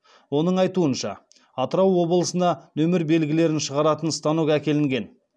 оның айтуынша атырау облысына нөмір белгілерін шығаратын станок әкелінген